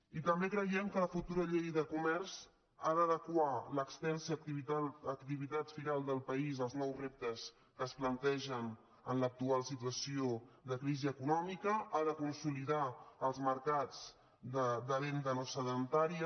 i també creiem que la futura llei de comerç ha d’adequar l’extensa activitat firal del pa·ís als nous reptes que es plantegen en l’actual situació de crisi econòmica i ha de consolidar els mercats de venda no sedentària